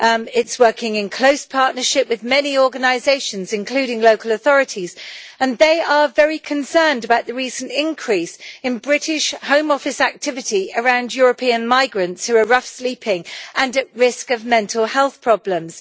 It is working in close partnership with many organisations, including local authorities, and they are very concerned about the recent increase in British Home Office activity around European migrants who are sleeping rough and at risk of mental health problems.